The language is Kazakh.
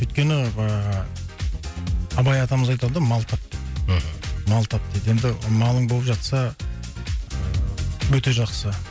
өйткені ыыы абай атамыз айтады ғой мал тап деп мхм мал тап дейді енді малың болып жатса ыыы өте жақсы